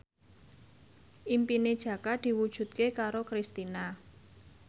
impine Jaka diwujudke karo Kristina